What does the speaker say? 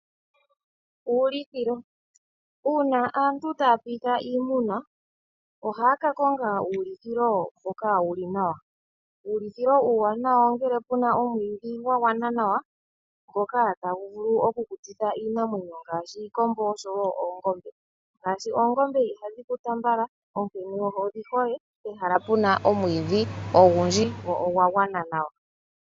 Uulithilo, Uuna aantu taya piitha iimuna ohaa ka konga uulithilo mboka wuli nawa. Uulithilo uuwanawa ongele puna omwiidhi gwa gwana nawa, ngoka tagu vulu okukutitha iinamwenyo ngaashi iimbombo osho wo oongombe . Shaashi oongombe ihadhi kuta mbala onkene odhi hole pehala pu na omwiidhi ogundji go ogwa gwana nawa.